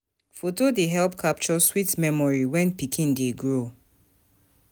Foto dey help capture sweet memory when pikin dey grow.